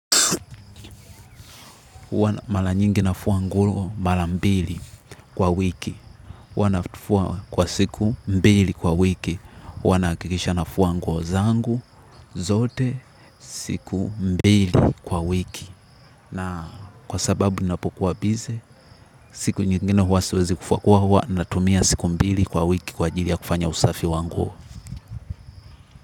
Mara nyingi nafua nguo mara mbili kwa wiki. Wanafua kwa siku mbili kwa wiki. Huwa nahakikisha nafua nguo zangu zote siku mbili kwa wiki. Na kwa sababu ninapokuwa bize siku nyingine huwa siwezi kufua huwa na tumia siku mbili kwa wiki kwa ajili ya kufanya usafi wangu.